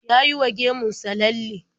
Ya yi wa gemun sa lalle.